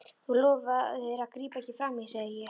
Þú lofaðir að grípa ekki frammí, segi ég.